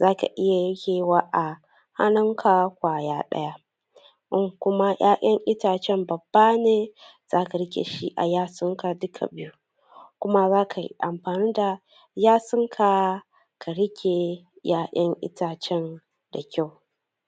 zaka iya rike wa a hanunn ka ƙwaya ɗaya in kuma 'ya'yan itacen babba ne zaka rike shi a 'yasun ka duka biyun kuma zaka yi amfani da 'yasun ka ka rike 'ya'yan itacen da kyau